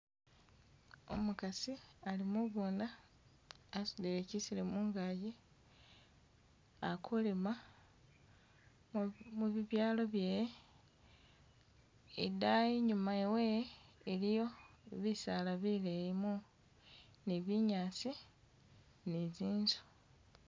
Umukasi ali mugunda asudile kyiselo mungaji aku lima mu-mubibyalo bye-e idayi inyuma we iliyo bisala bileyi mu ni binyasi nitsinzu